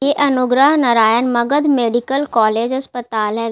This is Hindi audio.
यह अनुग्रह नारायण मगध मेडिकल कॉलेज अस्पताल है।